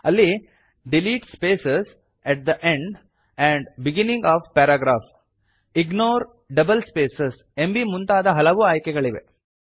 ಅಲ್ಲಿ delete space at the end and beginning of paragraph ignore double space ಎಂಬೀ ಮುಂತಾದ ಹಲವು ಆಯ್ಕೆಗಳಿವೆ